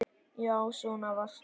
Já, svona varst þú.